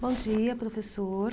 Bom dia, professor.